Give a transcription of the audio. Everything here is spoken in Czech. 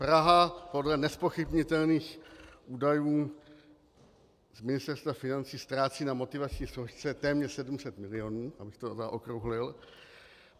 Praha podle nezpochybnitelných údajů z Ministerstva financí ztrácí na motivační složce téměř 700 milionů, abych to zaokrouhlil.